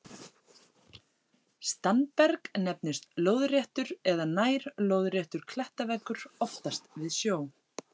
Standberg nefnist lóðréttur eða nær-lóðréttur klettaveggur, oftast við sjó.